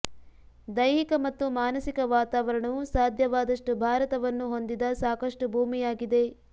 ದೈಹಿಕ ಮತ್ತು ಮಾನಸಿಕ ವಾತಾವರಣವು ಸಾಧ್ಯವಾದಷ್ಟು ಭಾರತವನ್ನು ಹೊಂದಿದ ಸಾಕಷ್ಟು ಭೂಮಿಯಾಗಿದೆ